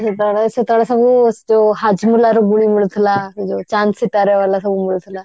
ସେତେବେଳେ ସେତେବେଳେ ସବୁ ଯଉ ହାଜମୋଲା ର ଗୁଳି ମିଳୁଥିଲା ସେଇ ଯଉ ଚାନ୍ଦ ସିତାରେ ବାଲା ସବୁ ମିଳୁଥିଲା